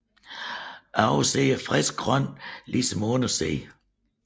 Oversiden er friskt grøn ligesom undersiden